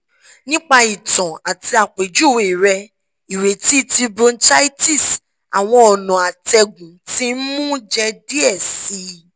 nipa itan ati àpèjúwe rẹ ireti ti bronchitis awọn ọna atẹgun ti nmu jẹ diẹ sii